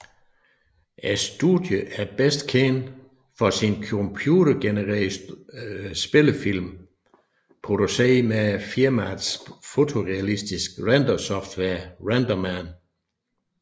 Studiet er bedst kendt for sine computergenererede spillefilm produceret med firmaets fotorealistisk render software RenderMan